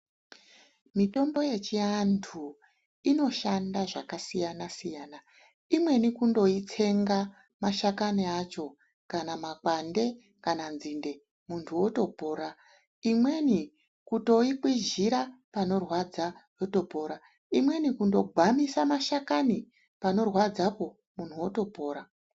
Mitombo yechiantu inoshanda zvakasiyana-siyana. Imweni kundoitsenga mashakani acho, kana makwande, kana nzinde, muntu otopora. Imweni kutoikwizhira panorwadza potopora. Imweni kundogwamisa mashakani panorwadzapo muntu otopora.